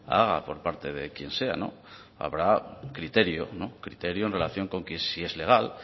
haga por parte de quien sea habrá criterio criterio en relación con que si es legal